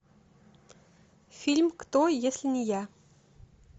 фильм кто если не я